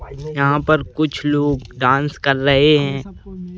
यहाँ पर कुछ लोग डांस कर रहे हैं।